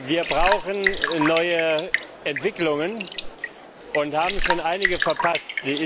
Wir brauchen neue Entwicklungen und haben schon einige verpasst.